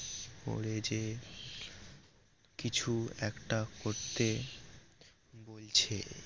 কলেজে কিছু একটা করতে বলছে